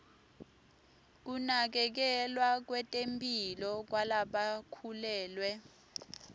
kunakekelwa kwetemphilo kwalabakhulelwe